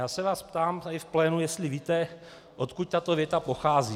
Já se vás ptám tady v plénu, jestli víte, odkud tato věta pochází.